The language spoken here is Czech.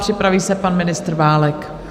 Připraví se pan ministr Válek.